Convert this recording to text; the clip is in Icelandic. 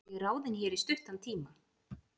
Ég er ráðinn hér í stuttan tíma.